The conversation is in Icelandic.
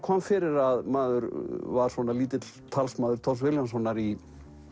kom fyrir að maður var svona lítill talsmaður Thors Vilhjálmssonar í